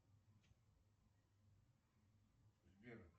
сбер